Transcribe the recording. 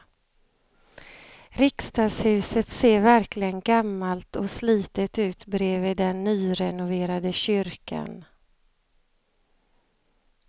Riksdagshuset ser verkligen gammalt och slitet ut bredvid den nyrenoverade kyrkan.